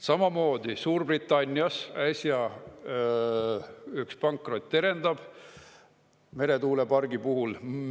Samamoodi Suurbritannias äsja, üks pankrot terendab meretuulepargi puhul.